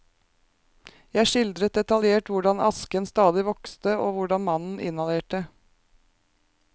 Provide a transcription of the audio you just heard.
Jeg skildret detaljert hvordan asken stadig vokste og hvordan mannen inhalerte.